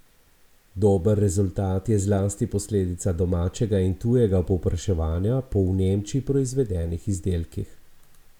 Dober rezultat je zlasti posledica domačega in tujega povpraševanja po v Nemčiji proizvedenih izdelkih.